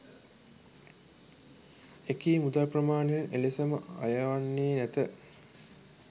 එකී මුදල් ප්‍රමාණයන් එලෙසම අය වන්නේ නැත